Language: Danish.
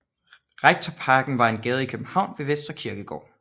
Rektorparken er en gade i København ved Vestre Kirkegård